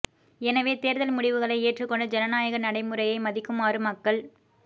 எனவே தேர்தல் முடிவுகளை ஏற்றுக் கொண்டு ஜனநாயக நடைமுறையை மதிக்குமாறு மக்கள்